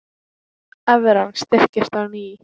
Evran styrkist á ný